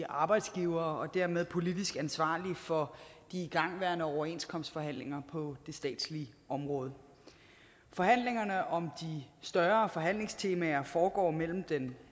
arbejdsgivere og dermed politisk ansvarlig for de igangværende overenskomstforhandlinger på det statslige område forhandlingerne om de større forhandlingstemaer foregår mellem den